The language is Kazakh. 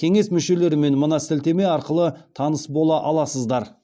кеңес мүшелерімен мына сілтеме арқылы таныс бола аласыздар